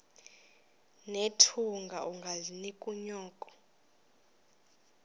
nethunga ungalinik unyoko